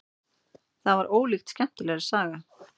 Það var ólíkt skemmtilegri saga.